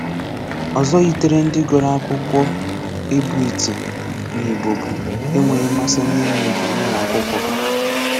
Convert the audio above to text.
Ọzọ yitere ndị gụrụ akwụkwọ ịbụ iti n'Igbo bụ e nweghi mmasị n'ịmụ Igbo n'ụlọ akwụkwọ ga